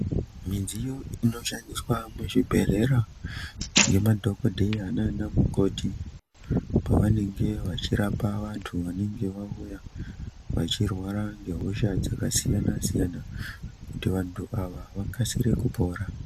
Midziyo inoshandiswa muzvibhedhlera ngemadhokodheya naanamukoti pavanenge vachirapa vantu vanenge vauya vachirwara ngehosha dzakasiyana siyana kuti vantu ava vakasire kupona.